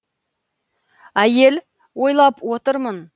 әйел ойлап отырмын